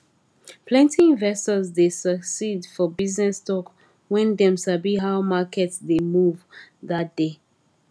plenty investors dey succeed for business talk when dem sabi how market dey move that day